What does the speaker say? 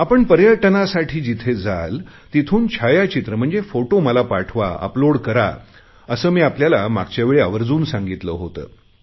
आपण पर्यटनासाठी जिथे जाल तिथून छायाचित्र म्हणजेच फोटो मला पाठवा अपलोड करा असे मी आपल्याला मागच्यावेळी आवर्जुन सांगितले होते